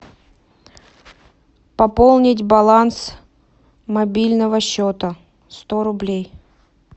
пополнить баланс мобильного счета сто рублей